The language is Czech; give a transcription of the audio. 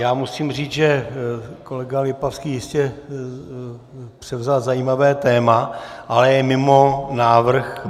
Já musím říct, že kolega Lipavský jistě převzal zajímavé téma, ale je mimo návrh programu -